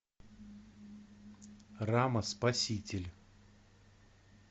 рама спаситель